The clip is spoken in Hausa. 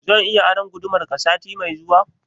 Zan iya aron gudumar ka sati mai zuwa?